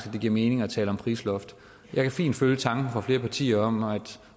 at det giver mening at tale om et prisloft jeg kan fint følge tanken fra flere partier og